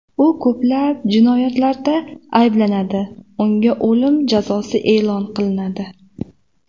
U ko‘plab jinoyatlarda ayblanadi, unga o‘lim jazosi e’lon qilinadi.